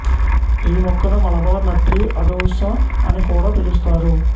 ఈ మొక్కను Malabar nut tree అడూస అని కూడా పిలుస్తారు